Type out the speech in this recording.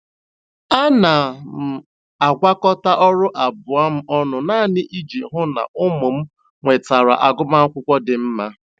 Ana m agwakọta ọrụ abụọ m ọnụ naanị iji hụ na ụmụ m nwetara agụmakwụkwọ dị mma.